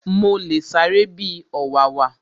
Mo le sáré bi ọ̀wàwà